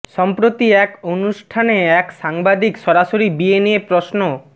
সম্প্রতি এক অনুষ্ঠানে এক সাংবাদিক সরাসরি বিয়ে নিয়ে প্রশ্ন